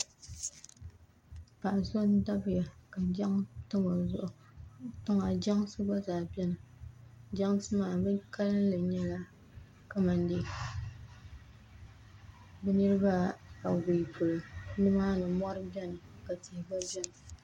paɣ'so n-dabiya ka jaŋa tam o zuɣu dama jansi gba zaa beni jansi maa bɛ kalinli nyɛla kamani dee bɛ niriba awɔi polo nimaani mɔri beni ka tihi gba beni